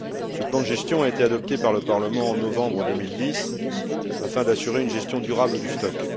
Ce plan de gestion a été adopté par le Parlement en novembre 2010 afin d'assurer une gestion durable du stock.